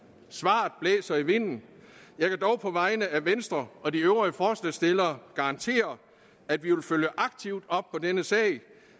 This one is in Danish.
svaret blæser i vinden jeg kan dog på vegne af venstre og de øvrige forslagsstillere garantere at vi vil følge aktivt op på denne sag